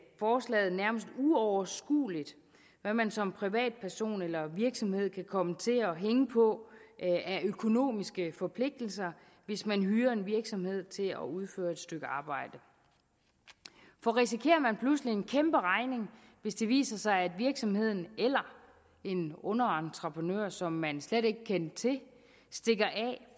forslaget nærmest uoverskueligt hvad man som privatperson eller virksomhed kan komme til at hænge på af økonomiske forpligtelser hvis man hyrer en virksomhed til at udføre et stykke arbejde for risikerer man pludselig en kæmpe regning hvis det viser sig at virksomheden eller en underentreprenør som man slet ikke kendte til stikker af